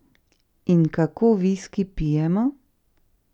In kako viski pijemo?